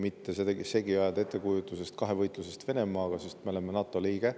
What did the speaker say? Seda ei maksa segi ajada ettekujutusega kahevõitlusest Venemaaga, sest me oleme NATO liige.